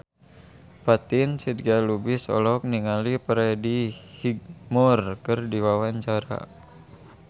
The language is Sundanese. Fatin Shidqia Lubis olohok ningali Freddie Highmore keur diwawancara